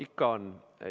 Ikka on.